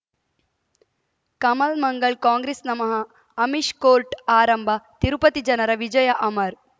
ಕಮಲ್ ಮಂಗಳ್ ಕಾಂಗ್ರೆಸ್ ನಮಃ ಅಮಿಷ್ ಕೋರ್ಟ್ ಆರಂಭ ತಿರುಪತಿ ಜನರ ವಿಜಯ ಅಮರ್